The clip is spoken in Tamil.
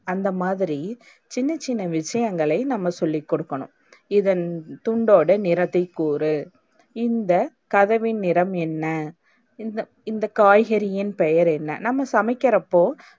அந்தமாதிரி சின்ன சின்ன விஷயங்களை நம்ம சொல்லிக்குடுக்கனும். இதன் துண்டோட நிறத்தை கூறு? இந்த கதவின் நிறம் என்ன? இந்த இந்த காய்கறியின் பெயர் என்ன? நம்ம சமைக்கிறப்போ,